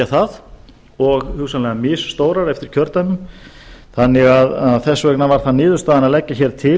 það og hugsanlega misstórar eftir kjördæmum þannig að þess vegna var það niðurstaðan að leggja hér til